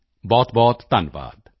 ਬਹੁਤਬਹੁਤ ਧੰਨਵਾਦ